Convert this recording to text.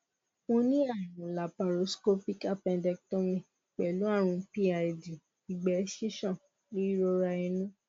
mo ní àrùn laparoscopic appendectomy pẹlú àrùn pid ìgbẹ ṣíṣàn ìrora inú